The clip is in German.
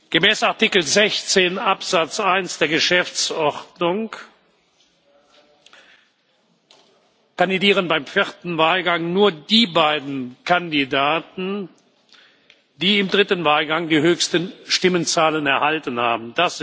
Gemäß Artikel 16 Absatz 1 der Geschäftsordnung kandidieren beim vierten Wahlgang nur die beiden Kandidaten, die im dritten Wahlgang die höchsten Stimmenzahlen erhalten haben.